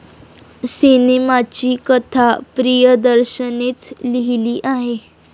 सिनेमाची कथा प्रियदर्शननेच लिहिली आहे.